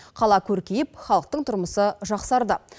қала көркейіп халықтың тұрмысы жақсарды